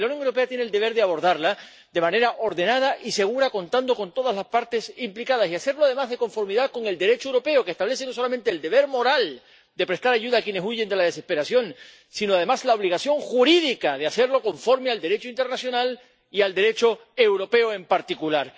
Y la Unión Europea tiene el deber de abordarla de manera ordenada y segura contando con todas las partes implicadas, y de hacerlo además de conformidad con el Derecho europeo, que establece no solamente el deber moral de prestar ayuda a quienes huyen de la desesperación, sino además la obligación jurídica de hacerlo conforme al Derecho internacional y al Derecho europeo, en particular.